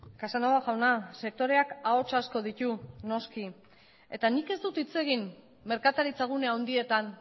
casanova jauna sektoreak ahots asko ditu noski eta nik ez dut hitz egin merkataritza gune handietan